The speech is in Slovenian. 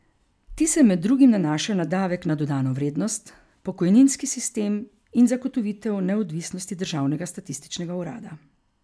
Ti se med drugim nanašajo na davek na dodano vrednost, pokojninski sistem in zagotovitev neodvisnosti državnega statističnega urada.